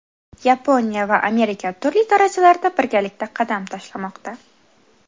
Yaponiya va Amerika turli darajalarda birgalikda qadam tashlamoqda.